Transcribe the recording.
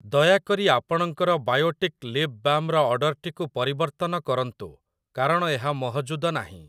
ଦୟାକରି ଆପଣଙ୍କର ବାୟୋଟିକ୍ ଲିପ୍‌ବାମ୍‌ ର ଅର୍ଡ଼ର୍‌‌ଟିକୁ ପରିବର୍ତ୍ତନ କରନ୍ତୁ କାରଣ ଏହା ମହଜୁଦ ନାହିଁ ।